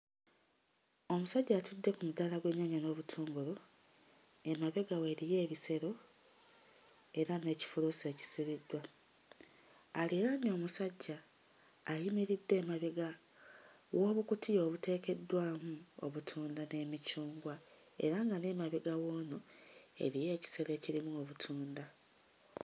Omusajja atudde ku mudaala gw'ennyaanya n'obutungulu ng'emabega we eriyo ebisero era n'ekifuluusi ekisibiddwa aliraanye omusajja ayimiridde emabega w'obukutiya obuteekeddwamu obutunda n'emicungwa era nga n'emabega w'ono eriyo ekisero ekirimu obutunda.